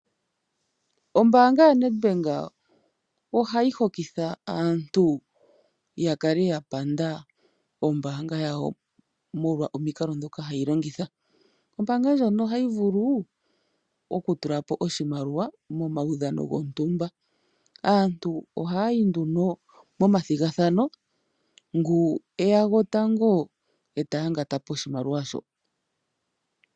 Ombaanga yaNedbank ohayi hokitha aantu ya kale ya panda ombaanga yawo molwa omikalo ndhoka hayi longitha. Ombaanga ndjono ohayi vulu okutula po oshimaliwa momaudhano gontumba. Aantu ohaya yi nduno momathigathano ngoka e ya tango ta yangata po oshimaliwa shoka.